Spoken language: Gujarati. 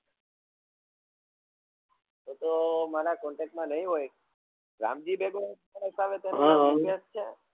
તો તો મારા contect માં નહિ હોય રામજી